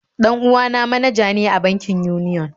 Dan uwa na manaja ne a bankin Union